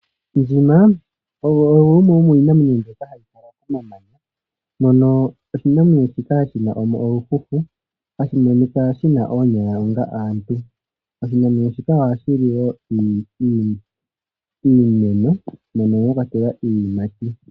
Ondjima oyo yimwe yomiinamwenyo mbyoka hayi kala momamanya, mono oshinamwenyo shina olufufu hashi monika shina oonyala onga aantu. Oshinamwenyo shika ohashi li wo iimeno mono mwa kwatelwa iiyimati.